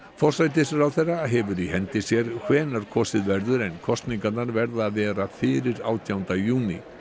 forsætisráðherra hefur í hendi sér hvenær kosið verður en kosningar verða að vera fyrir átjánda júní